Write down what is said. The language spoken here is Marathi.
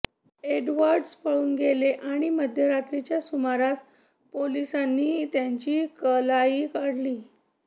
एडवर्डस पळून गेले आणि मध्यरात्रीच्या सुमारास पोलिसांनी त्यांची कलाई काढली